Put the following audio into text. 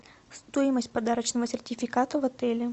стоимость подарочного сертификата в отеле